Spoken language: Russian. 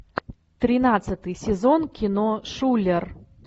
тринадцатый сезон кино шулер